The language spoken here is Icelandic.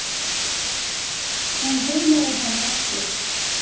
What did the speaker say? Hún hugleiðir hana ekki.